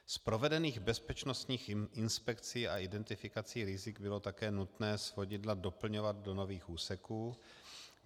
Z provedených bezpečnostních inspekcí a identifikací rizik bylo také nutné svodidla doplňovat do nových úseků.